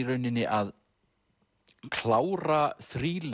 rauninni að klára